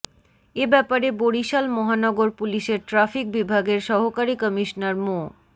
এ ব্যাপারে বরিশাল মহানগর পুলিশের ট্রাফিক বিভাগের সহকারী কমিশনার মো